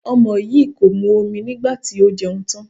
Ọmọ yìí kò mu omi nígbà tí ó jẹun tán.